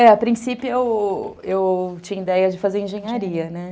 É, a princípio eu eu eu tinha ideia de fazer engenharia, né?